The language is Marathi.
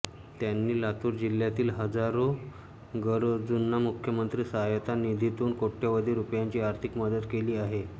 त्यांनी लातूर जिल्ह्यातील हजारो गरजूंना मुख्यमंत्री सहाय्यता निधीतून कोट्यवधी रुपयांची आर्थिक मदत केली आहे